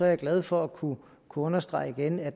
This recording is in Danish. jeg glad for at kunne understrege igen at